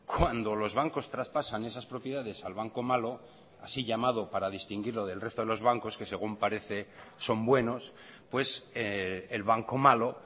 cuando los bancos traspasan esas propiedades al banco malo así llamado para distinguirlo del resto de los bancos que según parece son buenos pues el banco malo